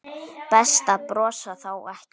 Best að brosa þá ekki.